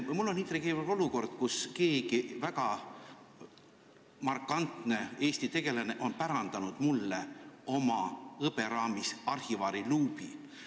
Ma olen intrigeerivas olukorras, sest üks väga markantne Eesti tegelane on pärandanud mulle hõberaamis arhivaariluubi.